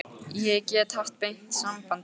Ég get haft beint samband við guð.